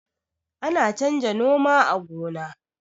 ana canja noma a gona